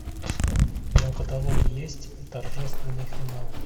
в твоем каталоге есть торжественный финал